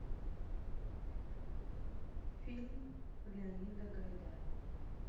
фильм леонида гайдая